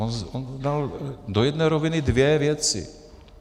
On dal do jedné roviny dvě věci.